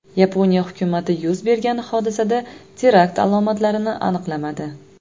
Yaponiya hukumati yuz bergan hodisada terakt alomatlarini aniqlamadi.